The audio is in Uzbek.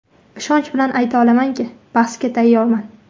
Ishonch bilan ayta olamanki, bahsga tayyorman.